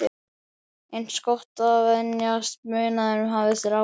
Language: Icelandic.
Eins gott að venjast munaðinum, hafði strákur